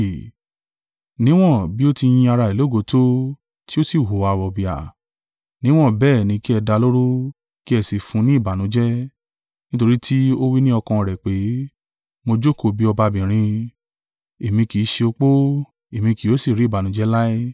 Níwọ́n bí o ti yin ara rẹ̀ lógo tó, tí ó sì hùwà wọ̀bìà, níwọ̀n bẹ́ẹ̀ ni kí ẹ dá a lóró kí ẹ sì fún un ní ìbànújẹ́; nítorí tí ó wí ní ọkàn rẹ̀ pé, ‘Mo jókòó bí ọbabìnrin, èmi kì sì í ṣe opó, èmí kì yóò sì rí ìbànújẹ́ láé.’